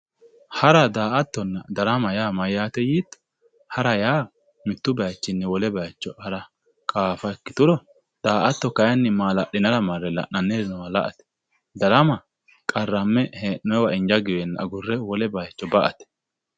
Hara, daa"attonna darama mayate yiitto ,hara yaa mitu bayichini wole bayicho hara qaafa ikkituro daa"atto kayinni mala'linanniri noowa marre la"ate ,darama qarrame hee'nonniwinni agurre wole bayicho ka"ate.